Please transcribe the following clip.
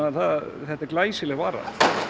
þetta er glæsileg vara